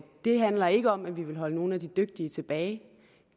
det handler ikke om at vi vil holde nogle af de dygtige tilbage